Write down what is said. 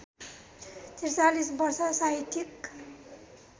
४३ वर्ष साहित्यिक